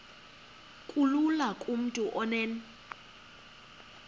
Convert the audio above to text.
kulula kumntu onen